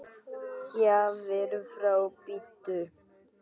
Gjafir frá Búddu.